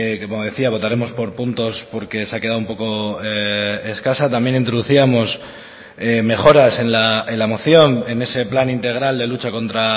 que como decía votaremos por puntos porque se ha quedado un poco escasa también introducíamos mejoras en la moción en ese plan integral de lucha contra